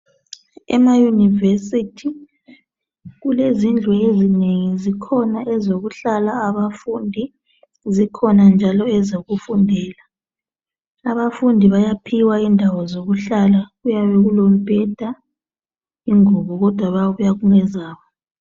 Ema univesithi kulezindlu ezinengi zikhona ezokuhlala abafundi zikhona njalo ezokufundela. Abafundi bayaphiwa indawo zokuhlala kuyabe kulombheda ingubo kodwa kuyabe kungezakho